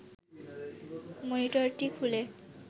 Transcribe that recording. মনিটরটি খুলে